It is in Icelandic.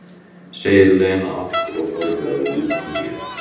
segir Lena aftur og horfir á Júlíu.